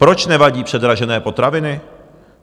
Proč nevadí předražené potraviny?